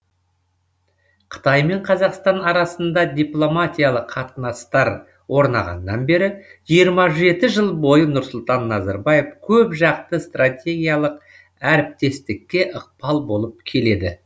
қытай мен қазақстан арасында дипломатиялық қатынастар орнағаннан бері жиырма жеті жыл бойы нұрсұлтан назарбаев көп жақты стратегиялық әріптестікке ықпал болып келеді